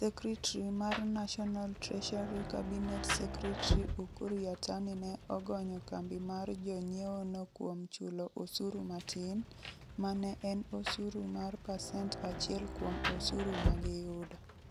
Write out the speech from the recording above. Secretary mar National Treasury Cabinet Secretary Ukur Yatani ne ogonyo kambi mar jonyiewono kuom chulo osuru matin, ma ne en osuru mar pasent achiel kuom osuru ma giyudo.